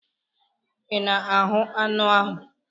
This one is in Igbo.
Ị na-aṅụ anụ ahụ?